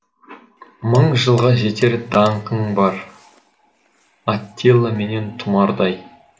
мың жылға жетер даңқың бар атилла менен тұмардай